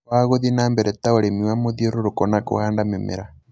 wa gũthie na mbere ta ũrĩmi wa mũthiũrũrũko na kũhanda mĩmera